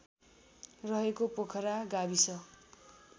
रहेको पोखरा गाविस